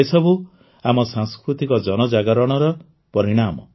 ଏସବୁ ଆମ ସାଂସ୍କୃତିକ ଜନଜାଗରଣର ପରିଣାମ